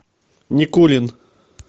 никулин